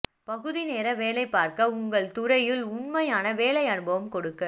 பகுதி நேர வேலை பார்க்க உங்கள் துறையில் உண்மையான வேலை அனுபவம் கொடுக்க